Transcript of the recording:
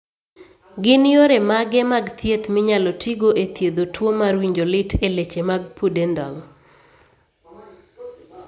Gin yore mage mag thieth minyalo tigo e thiedho tuo mar winjo lit e leche mag pudendal ?